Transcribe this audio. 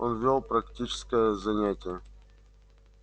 он вёл практическое занятие